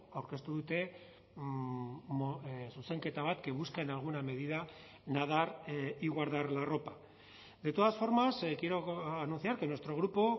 aurkeztu dute zuzenketa bat que busca en alguna medida nadar y guardar la ropa de todas formas quiero anunciar que nuestro grupo